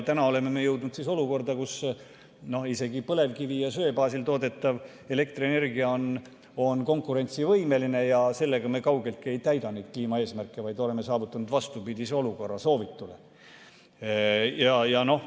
Täna oleme jõudnud olukorda, kus isegi põlevkivi ja söe baasil toodetav elektrienergia on konkurentsivõimeline ja sellega me kaugeltki ei täida neid kliimaeesmärke, vaid oleme saavutanud vastupidise olukorra soovitule.